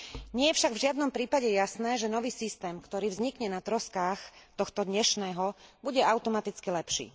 Nie je však v žiadnom prípade jasné, že nový systém, ktorý vznikne na troskách tohto dnešného, bude automaticky lepší.